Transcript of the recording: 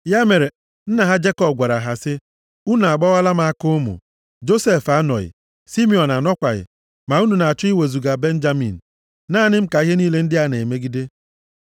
Ya mere, nna ha Jekọb gwara ha sị, “Unu agbawala m aka ụmụ. Josef anọghị, Simiọn anọkwaghị. Ma unu na-achọ iwezuga Benjamin. Naanị m ka ihe niile ndị a na-emegide!”